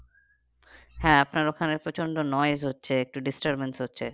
হ্যাঁ আপনার ওখানে প্রচন্ড হচ্ছে একটু disturbance হচ্ছে